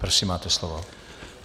Prosím, máte slovo.